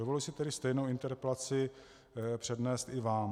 Dovoluji si tedy stejnou interpelaci přednést i vám.